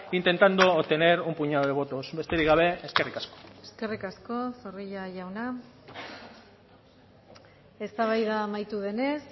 intentando obtener un puñado de votos besterik gabe eskerrik asko eskerrik asko zorrilla jauna eztabaida amaitu denez